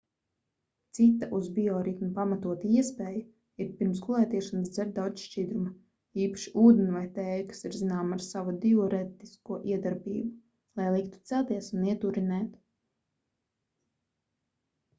cita uz bioritmu pamatota iespēja ir pirms gulētiešanas dzert daudz šķidruma īpaši ūdeni vai tēju kas ir zināma ar savu diurētisko iedarbību lai liktu celties un iet urinēt